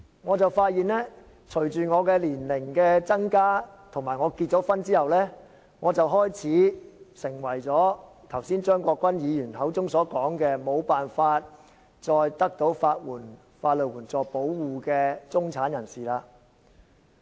我發現隨着我年齡增加，以及我結婚後，我開始成為剛才張國鈞議員口中所說的，沒有辦法再得到法援保護的中產人士。